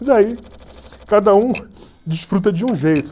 E daí cada um desfruta de um jeito.